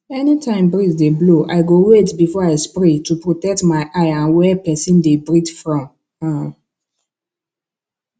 anytime breeze dey blow i go wait before i spray to protect my eye and where person dey breath from um